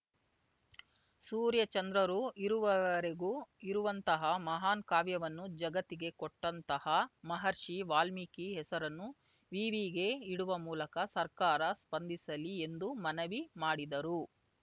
ಸೂರ್ಯ ಚಂದ್ರರು ಇರುವವರೆಗೂ ಇರುವಂತಹ ಮಹಾನ್‌ ಕಾವ್ಯವನ್ನು ಜಗತ್ತಿಗೆ ಕೊಟ್ಟಂತಹ ಮಹರ್ಷಿ ವಾಲ್ಮೀಕಿ ಹೆಸರನ್ನು ವಿವಿಗೆ ಇಡುವ ಮೂಲಕ ಸರ್ಕಾರ ಸ್ಪಂದಿಸಲಿ ಎಂದು ಮನವಿ ಮಾಡಿದರು